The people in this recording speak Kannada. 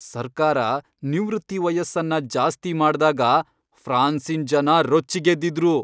ಸರ್ಕಾರ ನಿವೃತ್ತಿ ವಯಸ್ಸನ್ನ ಜಾಸ್ತಿ ಮಾಡ್ದಾಗ ಫ್ರಾನ್ಸಿನ್ ಜನ ರೊಚ್ಚಿಗೆದ್ದಿದ್ರು.